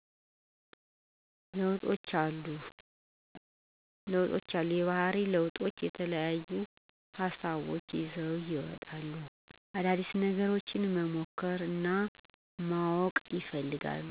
ለውጦች አሉ። የባህሪ ለውጦች የተለያዩ ሀሳቦች ይዘው ይመጣሉ። አዳዲስ ነገሮች መሞከር እናማወቅ ይፈልጋሉ።